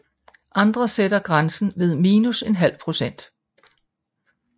Andre sætter grænsen ved minus en halv procent